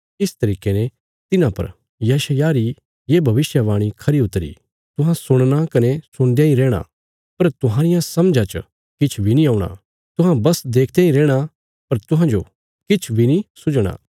इस तरिके ने तिन्हां पर यशायाह री ये भविष्यवाणी खरी उतरी तुहां सुणना कने सुणदयां इ रैहणा पर तुहांरिया समझा च किछ बी नीं औणा तुहां बस देखदयां इ रैहणा पर तुहांजो किछ बी नीं सुझणा